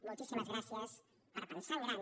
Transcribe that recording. moltíssimes gràcies per pensar en gran